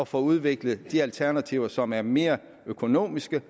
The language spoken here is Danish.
få udviklet de alternativer som er mere økonomiske